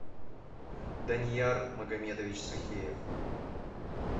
данияр магомедович сухиев